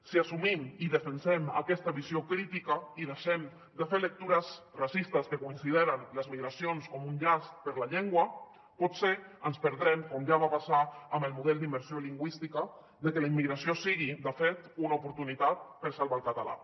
si assumim i defensem aquesta visió crítica i deixem de fer lectures racistes que consideren les migracions com un llast per a la llengua potser ens perdrem com ja va passar amb el model d’immersió lingüística de que la immigració sigui de fet una oportunitat per salvar el català